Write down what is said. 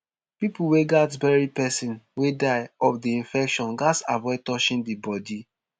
pipo wey gatz bury pesin wey die of di infection gatz avoid touching di bodi